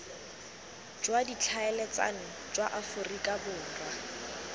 jwa ditlhaeletsano jwa aforika borwa